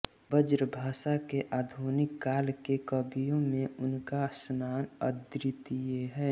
ब्रजभाषा के आधुनिक काल के कवियों में उनका स्थान अद्वितीय है